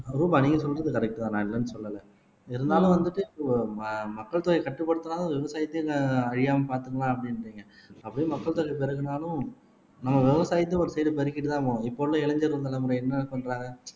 ரூபா நீங்க சொல்றது கரெக்ட் தான் நான் இல்லைன்னு சொல்லலை இருந்தாலும் வந்துட்டு இப்போ ம மக்கள் தொகையை கட்டுப்படுத்துனாலும் விவசாயத்தையே அழியாமல் பார்த்துக்கலாம் அப்படின்றீங்க அப்படியே மக்கள் தொகை பெருகினாலும், நம்ம விவசாயத்தை ஒரு சைடு பெரிக்கிட்டுதான் போவோம் இப்ப உள்ள இளைஞர்கள் தலைமுறை என்ன பண்றாங்க